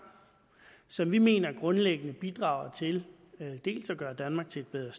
som vi mener grundlæggende bidrager til dels at gøre danmark til et bedre